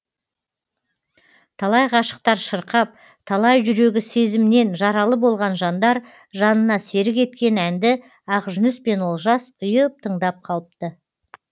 талай ғашықтар шырқап талай жүрегі сезімнен жаралы болған жандар жанына серік еткен әнді ақжүніс пен олжас ұйып тыңдап қалыпты